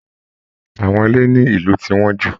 Àwọn ilé ní ìlú ti wọ́n jù